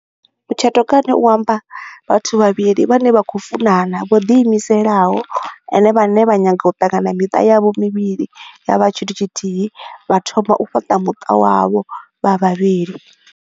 Mutshato kha nne u amba vhathu vhavhili vhane vha khou funana vho diimiselaho ende vhane vha nyaga u ṱanganya miṱa yavho mivhili ya vha tshithu tshithihi, vha thoma u fhaṱa muṱa wavho vha vhavhili